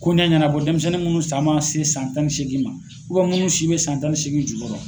Koɲa ɲɛnabɔ denmisɛnnin munnu san man se san tan ni seegin ma munnu si bɛ san tan ni seegin jukɔrɔ.